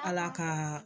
Ala ka